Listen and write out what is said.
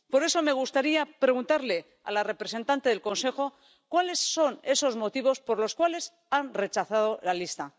Por eso me gustaría preguntarle a la representante del Consejo cuáles son esos motivos por los cuales han rechazado la lista.